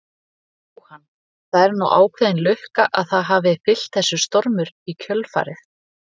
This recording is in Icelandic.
Jóhann: Það er nú ákveðin lukka að það hafi fylgt þessu stormur í kjölfarið?